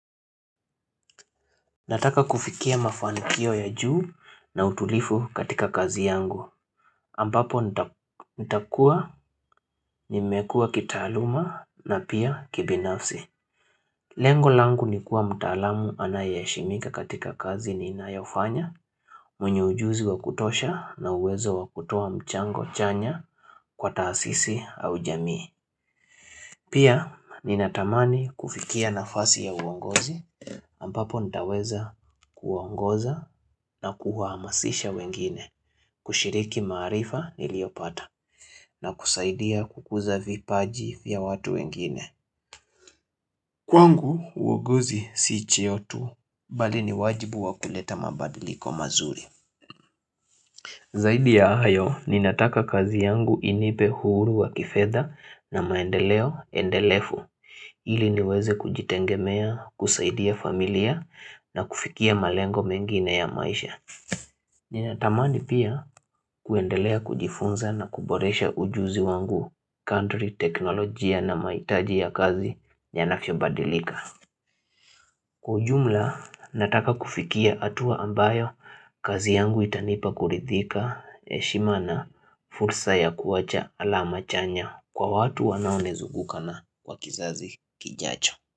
Nataka kufikia mafanikio ya juu na utulivu katika kazi yangu ambapo nitakuwa nimekua kitaaluma na pia kibinafsi Lengo langu nikuwa mtaalam anayeheshimika katika kazi niinayofanya mwenye ujuzi wa kutosha na uwezo wa kutoa mchango chanya kwa taasisi au jamii Pia ninatamani kufikia nafasi ya uongozi. Ampapo nitaweza kuwaongoza na kuwaamasisha wengine, kushiriki maarifa niliyopata, na kusaidia kukuza vipaji vya watu wengine. Kwangu uongizi sii cheo tu, bali ni wajibu wa kuleta mabadiliko mazuri. Zaidi ya hayo, ninataka kazi yangu inipe huru wa kifedha na maendeleo endelefu. Ili niweze kujitegemea, kusaidia familia na kufikia malengo mengine ya maisha. Ninatamani pia kuendelea kujifunza na kuboresha ujuzi wangu kandri teknolojia na maitaji ya kazi yanavyobadilika. Kwa ujumla, nataka kufikia atua ambayo kazi yangu itanipa kuridhika heshima na fursa ya kuacha alama chanya kwa watu wanaonizunguka na wa kizazi kijacho.